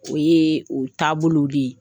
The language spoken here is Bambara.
O ye o taabolow de ye